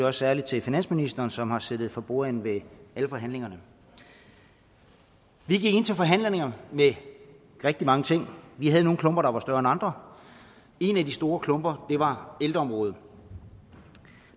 også særlig til finansministeren som har siddet for bordenden ved alle forhandlingerne vi gik ind til forhandlingerne med rigtig mange ting vi havde nogle klumper der var større end andre en af de store klumper var ældreområdet